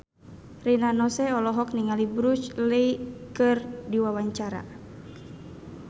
Rina Nose olohok ningali Bruce Lee keur diwawancara